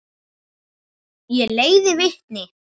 Ég leiði vitni.